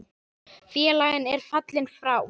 Félagi er fallinn frá.